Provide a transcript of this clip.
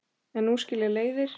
En nú skilja leiðir.